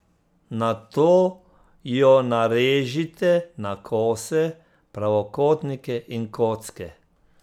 Nato jo narežite na kose, pravokotnike in kocke.